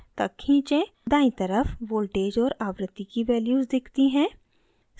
दायीं तरफ voltage और आवृत्ति की values दिखती हैं